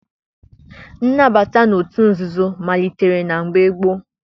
Nnabata n'otu nzuzo malitere na mgbe gboo.